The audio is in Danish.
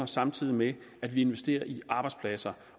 samtidig med at vi investerer i arbejdspladser